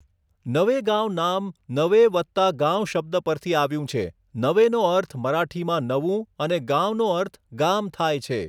નવેગાંવ નામ નવે વત્તા ગાંવ શબ્દ પરથી આવ્યું છે, નવેનો અર્થ મરાઠીમાં નવું અને ગાંવનો અર્થ ગામ થાય છે.